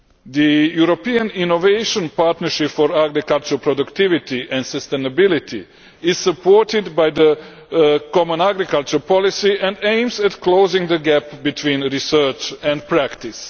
The European Innovation Partnership for Agricultural Productivity and Sustainability is supported by the common agricultural policy and aims at closing the gap between research and practice.